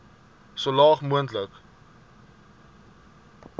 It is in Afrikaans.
so laag moontlik